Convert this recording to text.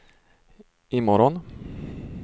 imorgon